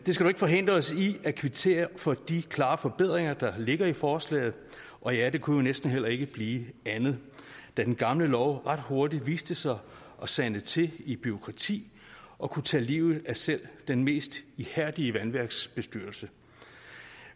ikke forhindre os i at kvittere for de klare forbedringer der ligger i forslaget og ja det kunne jo næsten heller ikke blive andet da den gamle lov ret hurtigt viste sig at sande til i bureaukrati og kunne tage livet af selv den mest ihærdige vandværksbestyrelse